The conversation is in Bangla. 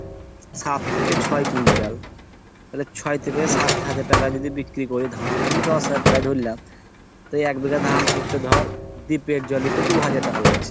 সাত থেকে ছয় কুইন্টাল আবার ছয় থেকে সাত হাজার টাকা যদি বিক্রি হয় ধান আমি দশ হাজার টাকা ধরলাম তোর এক বিঘা ধান করতে ধর দীপ্তেল এর জল তো দু হাজার টাকা লাগছে।